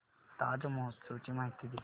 ताज महोत्सव ची माहिती दे